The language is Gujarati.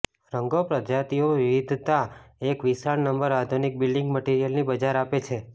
રંગો પ્રજાતિઓ વિવિધતા એક વિશાળ નંબર આધુનિક બિલ્ડિંગ મટિરિયલની બજાર આપે છે